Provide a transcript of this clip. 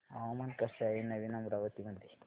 हवामान कसे आहे नवीन अमरावती मध्ये